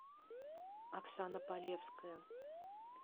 оксана полевская